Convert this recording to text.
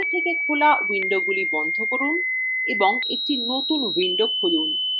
সমস্ত আগে খোলা windowsগুলি বন্ধ করুন এবং একটি নতুন windows খুলুন